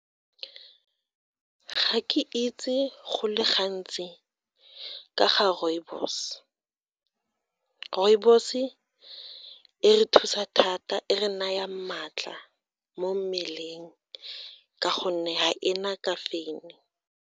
Ga ke itse go le gantsi ka ga rooibos, rooibos-e re thusa thata, e re naya maatla mo mmeleng, ka gonne ga e na ka caffeine.